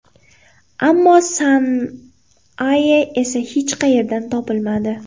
Ammo San-Aye esa hech qayerdan topilmadi.